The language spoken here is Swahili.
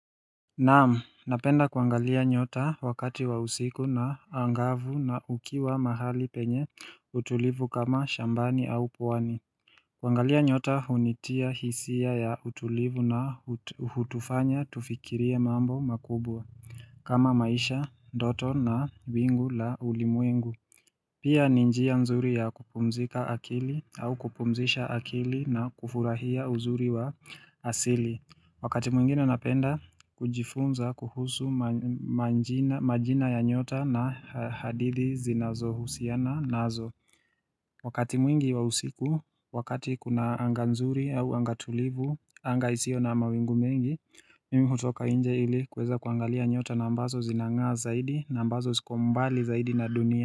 Naam, napenda kuangalia nyota wakati wa usiku na angavu na ukiwa mahali penye utulivu kama shambani au pwani kuangalia nyota hunitia hisia ya utulivu na hutufanya tufikirie mambo makubwa kama maisha, ndoto na wingu la ulimwengu Pia ni njia nzuri ya kupumzika akili au kupumzisha akili na kufurahia uzuri wa asili Wakati mwingine napenda, kujifunza, kuhusu manjina majina ya nyota na hadithi zinazohusiana nazo Wakati mwingi wa usiku, wakati kuna anga nzuri au anga tulivu, anga isio na mawingu mengi Mimi hutoka inje ili kuweza kuangalia nyota na ambazo zinang'aa zaidi, na ambazo ziko mbali zaidi na dunia.